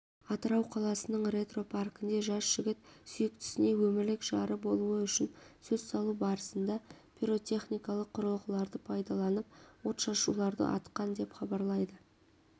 атырау қаласының ретро паркінде жас жігіт сүйіктісіне өмірлік жары болуы үшін сөз салу барысында пиротехникалық құрылғыларды пайдаланып отшашуларды атқан деп хабарлайды